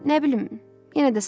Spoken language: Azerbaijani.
Nə bilim, yenə də sağ ol.